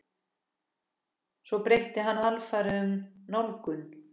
Svo breytti hann alfarið um nálgun.